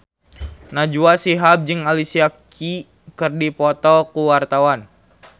Najwa Shihab jeung Alicia Keys keur dipoto ku wartawan